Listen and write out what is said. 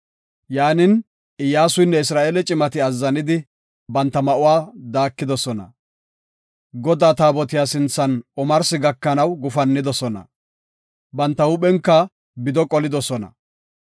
Yaanin, Iyyasuynne Isra7eele cimati azzanidi, banta ma7uwa daakidosona. Godaa taabotiya sinthan omarsi gakanaw gufannidosona. Banta huuphen bido qolidosona.